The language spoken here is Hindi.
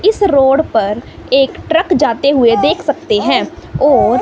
इस रोड पर एक ट्रक जाते हुए देख सकते हैं और--